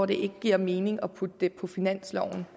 det ikke giver mening at putte på finansloven